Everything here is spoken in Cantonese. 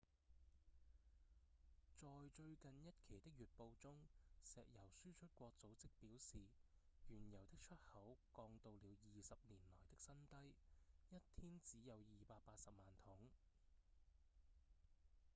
在最近一期的月報中石油輸出國組織表示原油的出口降到了20年來的新低一天只有280萬桶